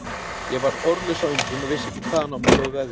Ég varð orðlaus af undrun og vissi ekki hvaðan á mig stóð veðrið.